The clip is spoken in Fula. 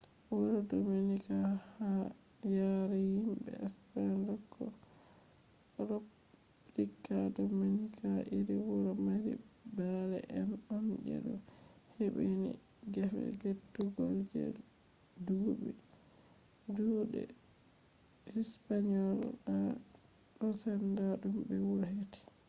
wuro dominika ha yare himɓe spen: repoblika dominika iri wuro mari ɓale en on je ɗo hebbini gefe lettugal je duuɗe hispaniyola ɗo senda ɗum be wuro heti